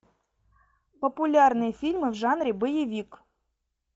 популярные фильмы в жанре боевик